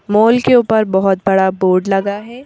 Mall के ऊपर बहुत बड़ा बोर्ड लगा है।